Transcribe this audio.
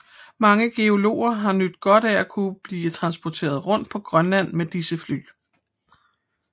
Mange geologer har nydt godt af at kunne blive transporteret rundt på Grønland med disse fly